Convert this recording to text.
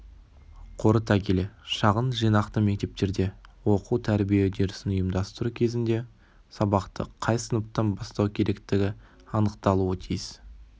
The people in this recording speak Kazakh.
қорыта келе шағын жинақты мектептерде оқу-тәрбие үдерісін ұйымдастыру кезінде сабақты қай сыныптан бастау керектігі анықталуы тиіс